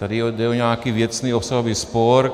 Tady jde o nějaký věcný obsahový spor.